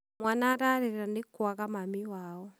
mwana ararĩra nĩkwaga Mami wao.